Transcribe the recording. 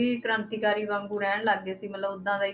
ਵੀ ਕ੍ਰਾਂਤੀਕਾਰੀ ਵਾਂਗੂ ਰਹਿਣ ਲੱਗ ਗਏ ਸੀ ਮਤਲਬ ਓਦਾਂ ਦਾ ਹੀ,